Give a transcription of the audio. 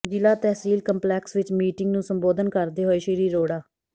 ਜ਼ਿਲ੍ਹਾ ਤਹਿਸੀਲ ਕੰਪਲੈਕਸ ਵਿੱਚ ਮੀਟਿੰਗ ਨੂੰ ਸੰਬੋਧਨ ਕਰਦੇ ਹੋਏ ਸ਼੍ਰੀ ਅਰੋੜਾ